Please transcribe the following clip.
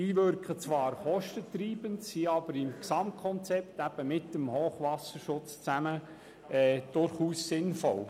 Diese wirken zwar kostentreibend, sind aber im Gesamtkonzept, zusammen mit dem Hochwasserschutz, durchaus sinnvoll.